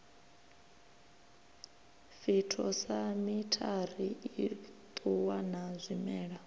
phytosamitary i ṱuwa na zwimela